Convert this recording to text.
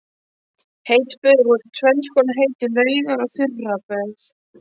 Heit böð voru tvenns konar, heitar laugar og þurraböð.